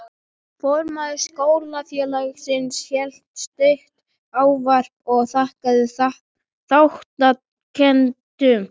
Formaður Skólafélagsins hélt stutt ávarp og þakkaði þátttakendum.